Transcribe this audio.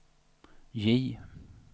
J